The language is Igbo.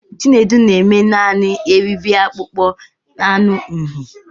Chinedu na-eme Naanị eriri akpụkpọ anụ uhie.